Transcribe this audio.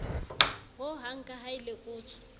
ho hang kaha e lekotswe